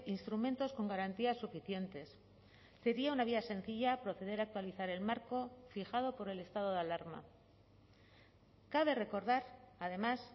instrumentos con garantías suficientes sería una vía sencilla proceder a actualizar el marco fijado por el estado de alarma cabe recordar además